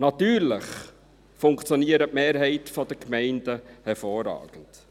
Natürlich funktioniert die Mehrheit der Gemeinden hervorragend.